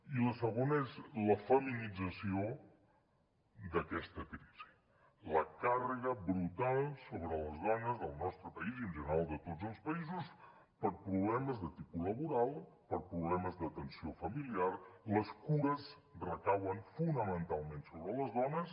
i la segona és la feminització d’aquesta crisi la càrrega brutal sobre les dones del nostre país i en general de tots els països per problemes de tipus laboral per problemes d’atenció familiar les cures recauen fonamentalment sobre les dones